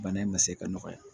Bana in ma se ka nɔgɔya